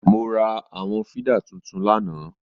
Mo ra àwọn fídà tuntun lánàá